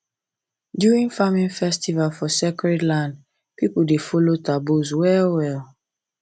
during farming festival for sacred land people dey follow taboos well well